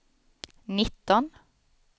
nitton